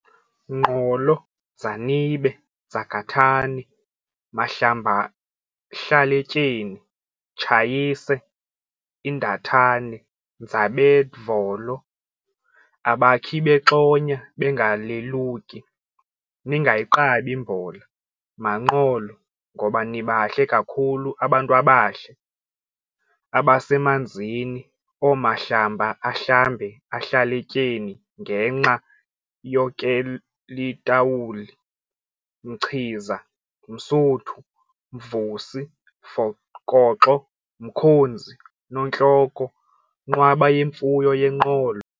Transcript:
Nqolo, Dzanibe, Dzakathane, Mahlambahlaletyeni thsayise indathane ndzabedvolo, a bakhibexonya bengaleluki, ningayigqabi! mbola maNqolo ngoba nibahle kakhulu abantwabahle! abasemanzini oomahlamba ahlambe ahlaletyeni ngenxa yokel tawuli, Mchiza, Msuthu Mvusi, Fokoxo, Mkhonzi, Notloko, Nqwaba yemfuyo yeNqolo!